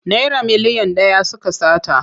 Naira miliyan ɗaya suka sata.